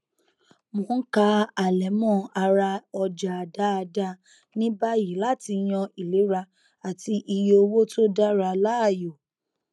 mò n ka àlẹmọ ara ọjà dáadáa ní báyìí láti yan ìlera àti iye owó tó dára láàyò